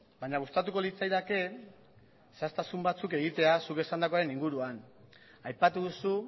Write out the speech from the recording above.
baina gustatuko litzaidake zehaztasun batzuk egitea zuk esandakoaren inguruan aipatu duzu